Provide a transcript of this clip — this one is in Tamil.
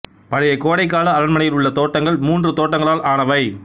பழைய கோடைக்கால அரண்மனையில் உள்ள தோட்டங்கள் மூன்று தோட்டங்களால் ஆனவை